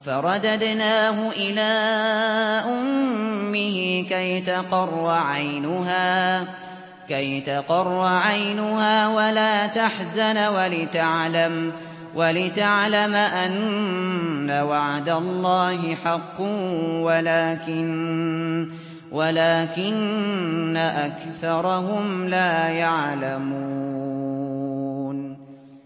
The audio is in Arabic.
فَرَدَدْنَاهُ إِلَىٰ أُمِّهِ كَيْ تَقَرَّ عَيْنُهَا وَلَا تَحْزَنَ وَلِتَعْلَمَ أَنَّ وَعْدَ اللَّهِ حَقٌّ وَلَٰكِنَّ أَكْثَرَهُمْ لَا يَعْلَمُونَ